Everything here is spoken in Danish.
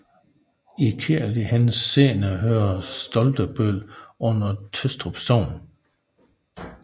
I kirkelig henseende hører Stoltebøl under Tøstrup Sogn